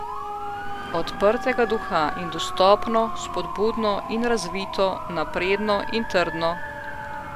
Odprtega duha in dostopno, spodbudno in razvito, napredno in trdno.